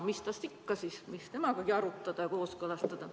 Mis temast ikka, mis temagagi arutada või kooskõlastada.